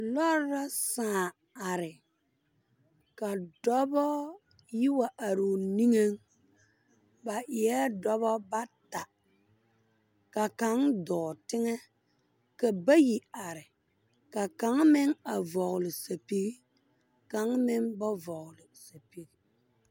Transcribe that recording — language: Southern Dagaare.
Lɔɔre la sãã are ka dɔbɔ yi wa are o niŋe ba eɛ dɔbɔ bata ka kaŋ dɔɔ teŋɛ ka bayi are ka kaŋa meŋ a vɔgle sapige kaŋa meŋ ba vɔgle sapige.